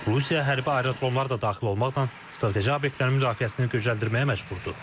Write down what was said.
Rusiya hərbi aerodromlar da daxil olmaqla strateji obyektlərin müdafiəsini gücləndirməyə məcburdur.